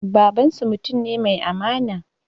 Babansu mutum ne mai amana